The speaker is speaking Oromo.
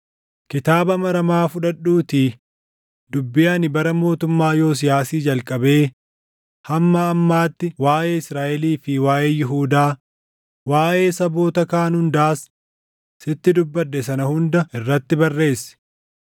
“Kitaaba maramaa fudhadhuutii dubbii ani bara mootummaa Yosiyaasii jalqabee hamma ammaatti waaʼee Israaʼelii fi waaʼee Yihuudaa, waaʼee saboota kaan hundaas sitti dubbadhe sana hunda irratti barreessi.